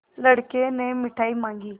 लड़के ने मिठाई मॉँगी